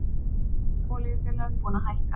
Öll olíufélögin búin að hækka